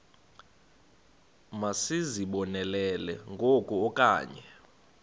masizibonelele ngoku okanye